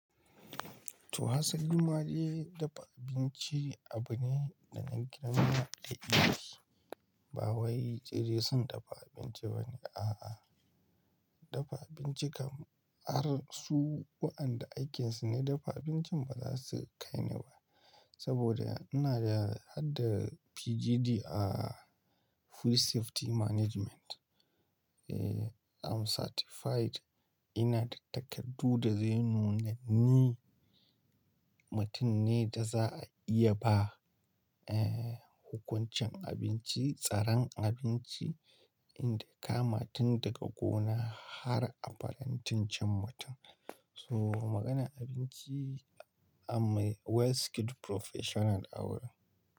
To hasalima dai dafa abinci abu ne da na girmama da ita. Ba wai tsire sun dafa abinci ba ne, a'a. Dafa abinci kamar su waɗanda aikinsu ne dafa abincin ba za su kaine ba. Saboda ina da har da PGD a Food Safety Management. Eh, I'm certified. Ina da takardu da zai nuna ni mutum ne da za a iya ba, eh, hukuncin abinci, tsaron abinci, in ta kama tun daga gona har a farantin cin mutum. So maganan abinci, I'm a well skilled professional awurin.